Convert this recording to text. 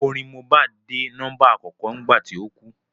Orin Mohbad dé nọ́mbà àkọ́kọ́ nígbà tí ó kú